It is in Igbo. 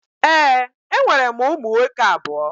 Ee, enwere m ụmụ nwoke abụọ